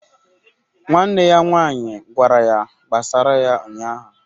Nwanne ya nwaanyị gwara ya gbasara ya ụnyahụ